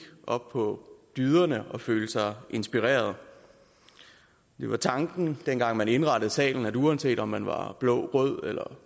op på dyderne og føle sig inspireret det var tanken dengang man indrettede salen at uanset om man var blå rød eller